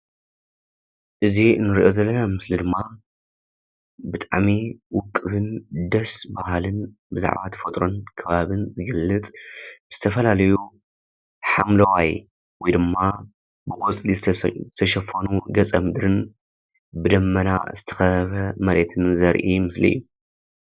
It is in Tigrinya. እዚ እንሪኦ ዘለና ምስሊ ድማ ብጣዕሚ ዉቅብን ደስ በሃልን ብዛዕባ ተፈጥሮን ከባብን ዝገልፅ ዝተፈላለዩ ሓምለዋይ ወይ ድማ ብቆፅሊ ዝተሸፈሉ ገፀ ምድርን ብደመና ዝተኸበበ መሬትን ዘርኢ ምስሊ እዩ።